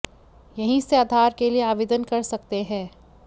यहीं से आधार के लिए आवेदन कर सकते हैं